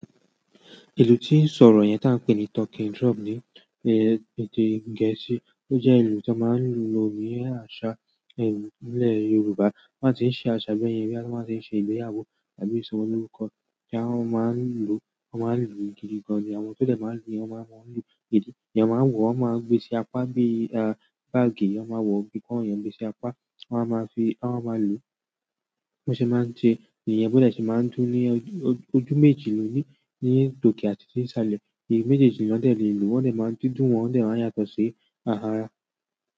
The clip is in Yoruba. Ìlú tí ń sọ̀rọ̀ yẹn tí a ń pè ní talking drum ní èdè Gẹ̀ẹ́sì, ó jẹ́ ìlú tí wọ́n máa ń lo ní àṣà ìlú nílẹ̀ Yorùbá. Wọ́n á ti ń ṣe àṣà bẹ́ẹ̀ yẹn bí wọ́n bá ṣe ń ṣe ìgbéyàwó àbí ìsọ ọmọ lórúkọ tí wọ́n máa ń lo, wọ́n máa ń lù ú gidi gan-an. Àwọn tó dẹ̀ máa ń lù ú, wọ́n máa ń lo gidi. Ìyẹn máa wọ̀, wọ́n máa gbé sí apá bí i, ah, báágì. Wọ́n máa wọ̀ gíkàn, wọ́n yẹn gbé sí apá, wọ́n á máa fi, wọ́n á máa lù ú. Wọn sì máa ń tì í. Ìyẹn bẹ́ẹ̀ dẹ̀ ṣe máa ń dún ní ojú méjì lónìí, ní tòkè àti ti ni salẹ̀. Ojú méjèèjì nọ dẹ̀ lé ìlú. Wọ́n dẹ̀ máa ń dídùn wọ́n, wọ́n dẹ̀ máa ń yàtọ̀ sí ara.